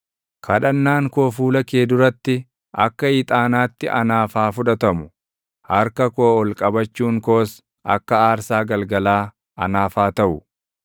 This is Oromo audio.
Kadhannaan koo fuula kee duratti akka ixaanaatti anaaf haa fudhatamu; harka koo ol qabachuun koos akka aarsaa galgalaa anaaf haa taʼu.